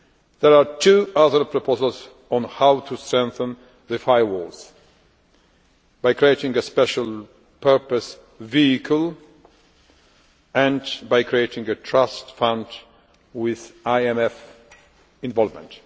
There are two other proposals on how to strengthen the firewall by creating a special purpose vehicle and by creating a trust fund with IMF involvement.